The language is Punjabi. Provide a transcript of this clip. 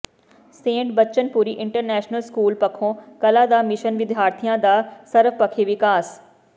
Saint Bachanpuri international school Pakho Kalan ਦਾ ਮਿਸ਼ਨ ਵਿਦਿਆਰਥੀਆਂ ਦਾ ਸਰਵਪਖੀ ਵਿਕਾਸ